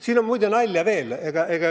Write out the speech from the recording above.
Siin on muide nalja ka.